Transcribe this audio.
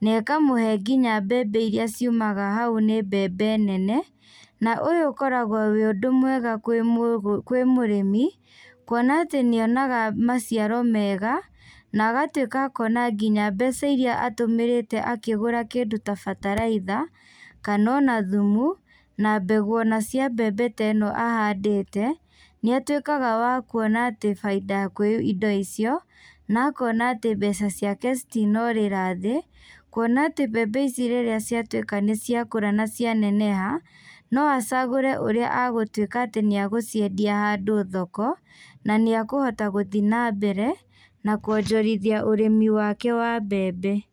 na ĩkamũhe nginya mbembe irĩa ciumaga hau nĩ mbembe nene. Na ũyũ ũkoragwo wĩ ũndũ mwega kwĩ mũrĩmi, kuona atĩ nĩ onaga maciaro mega na agatuĩka kuona nginya mbeca irĩa atũmĩrĩte akĩgũra kĩndũ ta bataraitha, kana ona thumu na mbegũ ona cia mbembe ĩno ahandĩte, nĩ atuĩkaga wa kuona atĩ baita kwĩ indo icio, na akona atĩ mbeca ciake citinorĩra thĩ. Kuona atĩ mbembe ici rĩrĩa ciatuĩka nĩ ciakũra na cia neneha, no acagũre ũrĩa agũtuĩka atĩ nĩ agũciendia handũ thoko, na nĩ ekũhota gũthiĩ na mbere na kwonjorithia ũrĩmi wake wa mbembe.